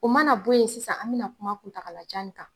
U mana bɔ ye sisan an mɛ na kuma kuntagala jan ni kan.